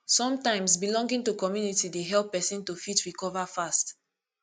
sometimes belonging to community dey help person to fit recover fast